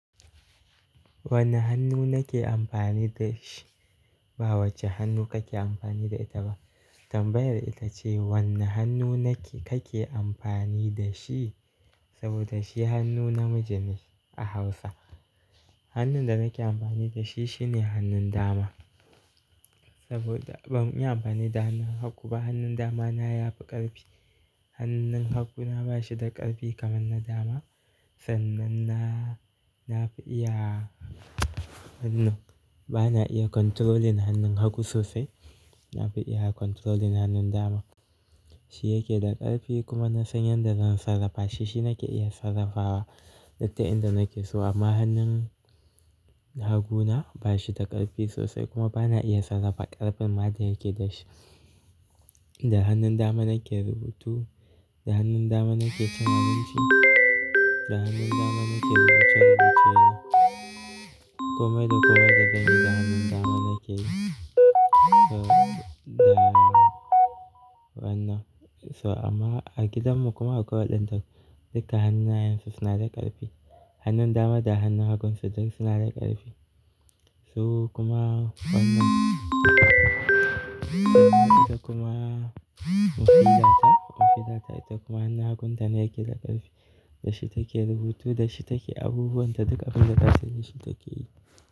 Wanne hannu nake amfani da shi? Ba wace hannu kake amfani da ita ba. Tambayar ita ce wanne hannu kake amfani da shi? Saboda shi hannu namiji ne a Hausa. Hannun da nake amfani da shi shine hannun dama. Saboda ban iya amfani da hannun hagu ba. Hannun dama na ya fi ƙarfi. Hannun hagu na ba shi da ƙarfi kamar na dama. Sannan na, na fi iya hannun, bana iya controlling hannun hagu sosai. Na fi iya controlling hannun dama. Shi yake da ƙarfi kuma na san yadda zan sarrafa shi. Shi nake iya sarrafawa littattafan da nake so amma hannun hagu na ba shi da ƙarfi sosai kuma bana iya sarrafa ƙarfin madain yake da shi. Da hannun dama nake rubutu, da hannun dama nake kananzir, da hannun dama nake rubuce rubuce. Kuma da kowa da dangi da hannun dama nake so da wannan. So amma a gidan mu kuma a kowa ɗan tak duka hannayen su suna da ƙarfi. Hannun dama da hannun hagun su duk suna da ƙarfi. So kuma wannan ita kuma mafi data, mafi data ita kuma hannun hagun ta ne yake da ƙarfi. Da shi take rubutu, da shi take abubuwan da duka abin data sani shi take yi.